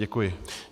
Děkuji.